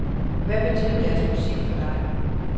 Hvad betød deres musik for dig?